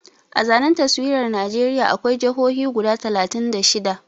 A zanen taswirar Najeriya akwai jahohi guda talatin da shida